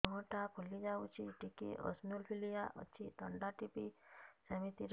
ମୁହଁ ଟା ଫୁଲି ଯାଉଛି ଟିକେ ଏଓସିନୋଫିଲିଆ ଅଛି ଥଣ୍ଡା ରୁ ବଧେ ସିମିତି ହଉଚି